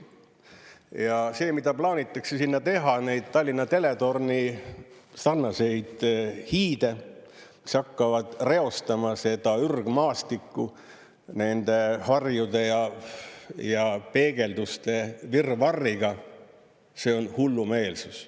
Ja see, mida plaanitakse sinna teha, neid Tallinna teletorni sarnaseid hiide, mis hakkavad reostama seda ürgmaastikku nende varjude ja peegelduste virvarriga, see on hullumeelsus.